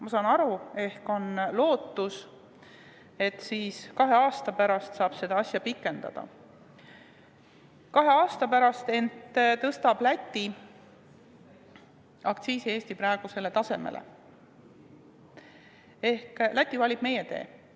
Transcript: Ma saan aru, et ehk on lootus, et kahe aasta pärast saab seda pikendada või et kahe aasta pärast tõstab Läti aktsiisi Eesti tasemele, ehk Läti valib meie tee.